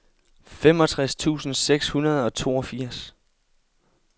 femogtres tusind seks hundrede og toogfirs